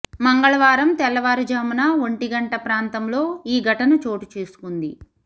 మంగళవారం తెల్లవారుజామున ఒంటి గంట ప్రాంతంలో ఈ ఘటన చోటు చేసుకుంది